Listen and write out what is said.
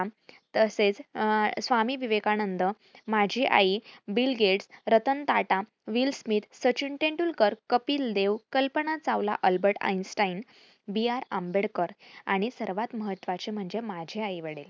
तसेच अं स्वामी विवेकानंद, माझी आई, Bill Gates, Ratan Tata, Will Smith, Sachin Tendulkar, Kapil Dev, Kalpana Chawla, Albert Einstein, B. R Ambedkar आणि सर्वात महत्वाचे म्हणजे माझे आईवडिल